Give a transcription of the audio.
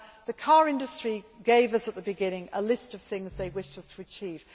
The car industry gave us at the beginning a list of things that they wished us to achieve.